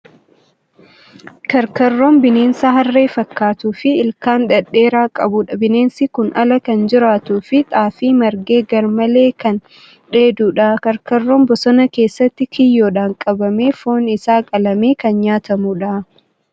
Karkarroon bineensa harree fakkaatuu fi ilkaan dhedheeraa qabudha. Bineensi kun ala kan jiraatuu fi xaafii marge garmalee kan dheedudha. Karkarroon bosona keessatti kiyyoodhaan qabamee foon isaa qalamee kan nyaatamu dha.